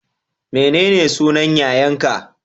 Menene sunan yayan ka?